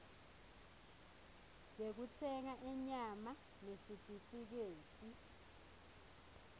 yekutsenga inyama nesitifiketi